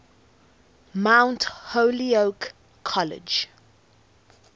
mount holyoke college